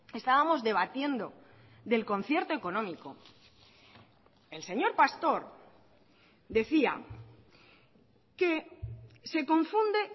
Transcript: estábamos debatiendo del concierto económico el señor pastor decía que se confunde